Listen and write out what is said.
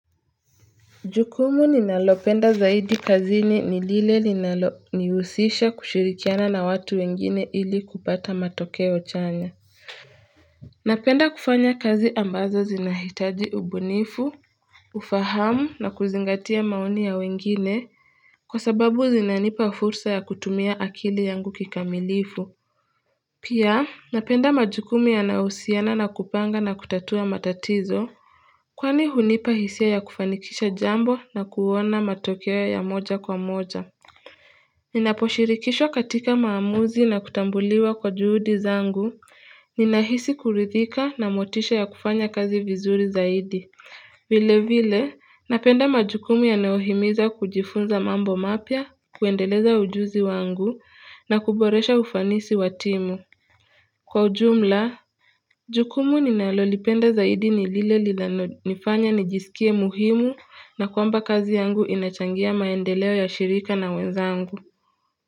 Jukumu ninalopenda zaidi kazini ni lile ninalo nihusisha kushirikiana na watu wengine ili kupata matokeo chanya Napenda kufanya kazi ambazo zinahitaji ubunifu, ufahamu na kuzingatia maoni ya wengine kwa sababu zinanipa fursa ya kutumia akili yangu kikamilifu Pia napenda majukumu yanayo husiana na kupanga na kutatua matatizo. Kwani hunipa hisia ya kufanikisha jambo na kuona matokeo ya moja kwa moja. Ninaposhirikishwa katika maamuzi na kutambuliwa kwa juhudi zangu. Ninahisi kuridhika na motisha ya kufanya kazi vizuri zaidi. Vile vile, napenda majukumu yanayohimiza kujifunza mambo mapya, kuendeleza ujuzi wangu, na kuboresha ufanisi wa timu. Kwa ujumla, Jukumu ninalolipenda zaidi ni lile linalonifanya nijisikie muhimu na kwamba kazi yangu inachangia maendeleo ya shirika na wenzangu.